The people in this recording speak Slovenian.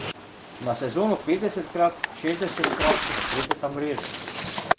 Na sezono petdesetkrat, šestdesetkrat zatreseta mrežo.